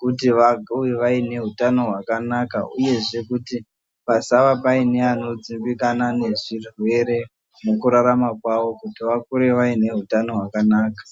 kuti vakure vaine utano hwakanaka uyezve kuti pasaa paine anodzimbikana nezvirwere mukurarama kwavo kuti vakure vaine hutano hwakanaka.